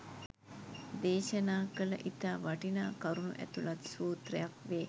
දේශනා කළ ඉතා වටිනා කරුණු ඇතුළත් සූත්‍රයක් වේ.